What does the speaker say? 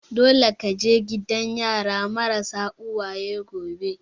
Dole ka je gidan yara marasa uwaye gobe!